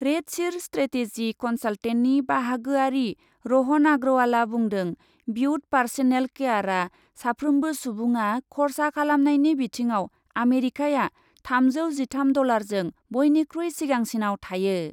RedSeer strategy कन्साल्टेन्टनि बाहागोयारि रहन आग्रवालआ बुंदों, बिउट पार्सनेल केयारआ साफ्रोमबो सुबुङा खरसा खालामनायनि बिथिङाव आमेरिकाया थामजौ जिथाम डलारजों बयनिखुइ सिगांसिनआव थायो।